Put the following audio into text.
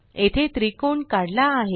येथे त्रिकोणकाढला आहे